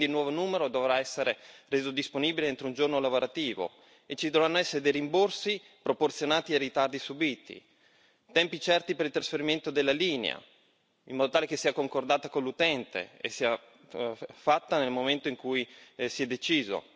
Quindi un nuovo numero dovrà essere reso disponibile entro un giorno lavorativo e ci dovranno essere dei rimborsi proporzionati ai ritardi subiti. Tempi certi per il trasferimento della linea, in modo tale che sia concordata con l'utente e sia fatta nel momento in cui si è deciso.